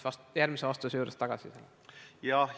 Ma tulen järgmises vastuses selle juurde tagasi.